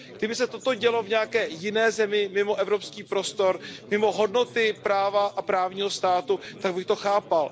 Kdyby se toto dělo v nějaké jiné zemi mimo evropský prostor, mimo hodnoty práva a právního státu, tak bych to chápal.